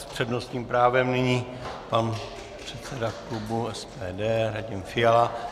S přednostním právem nyní pan předseda klubu SPD Radim Fiala.